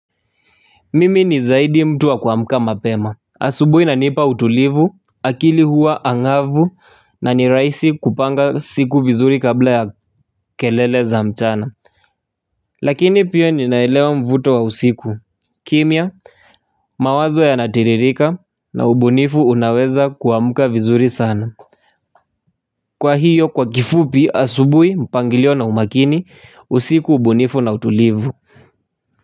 Mimi ni zaidi mtu wa kuamka mapema. Asubuhi inanipa utulivu, akili huwa ang'avu na ni rahisi kupanga siku vizuri kabla ya kelele za mchana. Lakini pia ninaelewa mvuto wa usiku. Kimya, mawazo yanatiririka na ubunifu unaweza kuamka vizuri sana. Kwa hiyo kwa kifupi asubuhi mpangilio na umakini usiku ubunifu na utulivu.